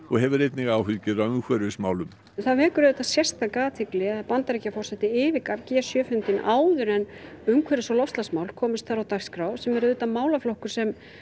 og hefur einnig áhyggjur af umhverfismálum það vekur sérstaka athygli að Bandaríkjaforseti yfirgaf g sjö fundinn áður en umhverfis og loftslagsmál kom á dagskrá sem er auðvitað málaflokkur sem